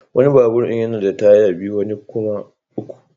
Wani babur yana da taya biyu wani kuma uku.